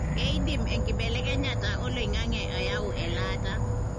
keidim enkibelekenyata oloingange ayau elaata